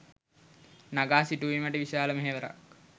නඟා සිටුවීමට විශාල මෙහෙවරක්